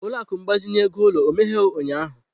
Ụlọ akụ mgbazinye ego ulo ó emeghere ụnyahụ?